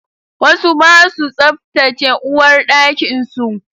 Wasu ba su tsaftace uwarɗakin su